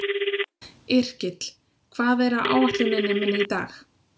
Yrkill, hvað er á áætluninni minni í dag?